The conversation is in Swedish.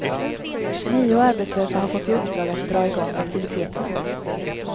Nio arbetslösa har fått i uppdrag att dra i gång aktiviteterna.